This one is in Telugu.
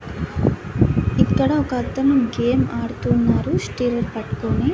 ఇక్కడ ఒకతను గేమ్ ఆడుతూ ఉన్నారు స్టీరిన్ పట్కోని.